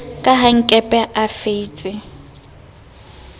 ka ha nkepe a feitse